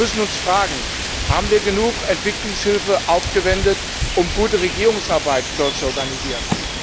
Wir müssen uns fragen Haben wir genug Entwicklungshilfe aufgewendet, um dort gute Regierungsarbeit zu organisieren?